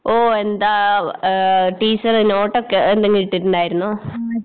ഓ എന്താ ഏഹ് ടീച്ചര് നോട്ടൊക്കെ എന്തെങ്കിലിട്ടിണ്ടാരുന്നോ?